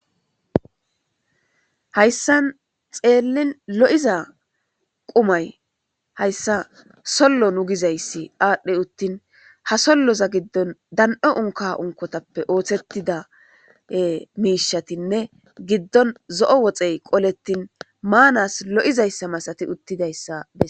hayssan xeellin lo7iza qumay hayssa sollo nu gizayssi aadhdhe uttin ha solloza giddon dan'o unka unkotappe ooththettida miishatinne giddon zo'o woxey qolettin maanas lo'izayssa masati uttidayssa